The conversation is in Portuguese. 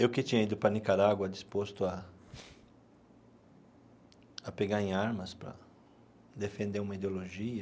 Eu que tinha ido para Nicarágua disposto a a pegar em armas para defender uma ideologia,